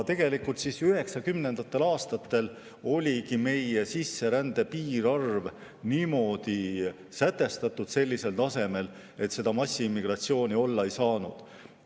Tegelikult oligi üheksakümnendatel aastatel meie sisserände piirarv sätestatud sellisel tasemel, et massiimmigratsiooni olla ei saanud.